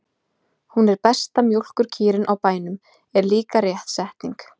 Hún er besta mjólkurkýrin á bænum, er líka rétt setning.